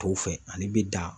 Tɔw fɛ ale bɛ dan